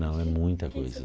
Não, é muita coisa.